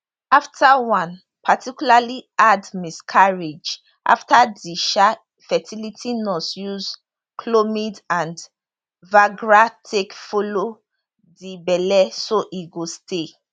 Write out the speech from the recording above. afta one particularly hard miscarriage afta di um fertility nurse use chlomid and viagra take follow di belle so e go stay